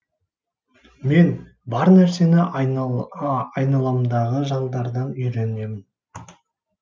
мен бар нәрсені айналамдағы жандардан үйренемін